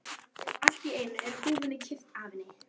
Allt í einu er húfunni kippt af henni!